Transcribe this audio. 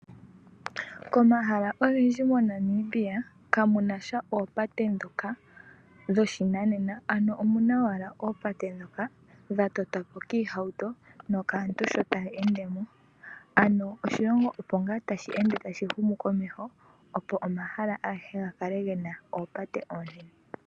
Komahala ogendji moNamibia kamu nasha oopate ndhoka dhoshinanena, ano omuna owala ooapte ndhoka dha totwapo kiihauto nokaantu sho taya endemo. Ano oshilongo opo ngaa tashi ende tashi humu komeho, opo omahala agehe ga kale gena oopate oonene.